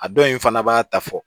A dɔw in fana b'a ta fɔ